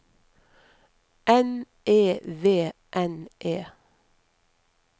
N E V N E